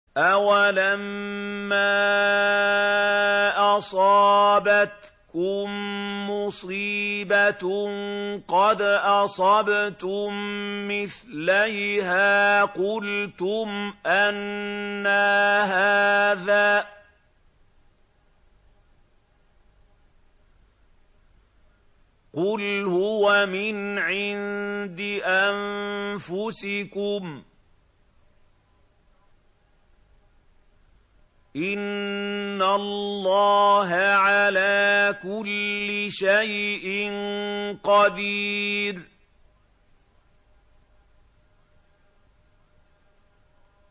أَوَلَمَّا أَصَابَتْكُم مُّصِيبَةٌ قَدْ أَصَبْتُم مِّثْلَيْهَا قُلْتُمْ أَنَّىٰ هَٰذَا ۖ قُلْ هُوَ مِنْ عِندِ أَنفُسِكُمْ ۗ إِنَّ اللَّهَ عَلَىٰ كُلِّ شَيْءٍ قَدِيرٌ